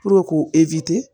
k'u